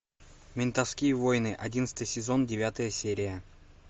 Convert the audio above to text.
ментовские войны одиннадцатый сезон девятая серия